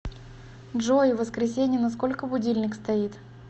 джой в воскресенье на сколько будильник стоит